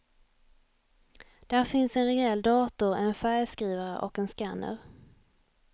Där finns en rejäl dator, en färgskrivare och en scanner.